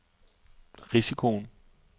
risikoen